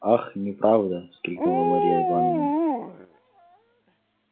ах неправда вскрикнула марья ивановна